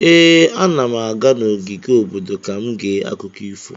Ee, ana m aga n'ogige obodo ka m gee akụkọ ifo.